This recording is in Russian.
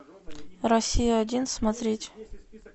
россия один смотреть